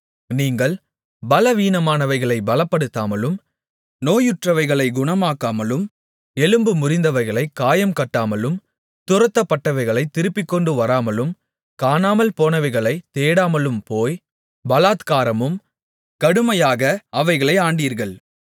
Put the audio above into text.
நீங்கள் பலவீனமானவைகளைப் பலப்படுத்தாமலும் நோயற்றவைகளைக் குணமாக்காமலும் எலும்பு முறிந்தவைகளைக் காயங்கட்டாமலும் துரத்தப்பட்டவைகளைத் திருப்பிக்கொண்டு வராமலும் காணாமல்போனவைகளைத் தேடாமலும் போய் பலாத்காரமும் கடுமையாக அவைகளை ஆண்டீர்கள்